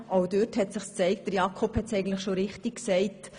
Jakob Etter hat es richtig gesagt: